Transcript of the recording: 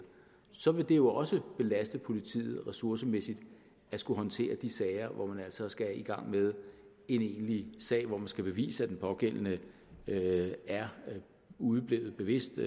så vil det jo også belaste politiet ressourcemæssigt at skulle håndtere de sager hvor de altså skal i gang med en egentlig sag hvor skal bevise at den pågældende er udeblevet bevidst